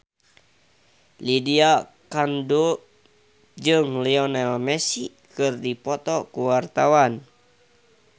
Lydia Kandou jeung Lionel Messi keur dipoto ku wartawan